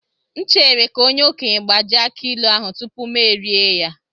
M chere ka onye okenye gbajie aki ilu ahu tupu m erie ya.